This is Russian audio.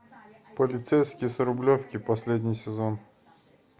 полицейский с рублевки последний сезон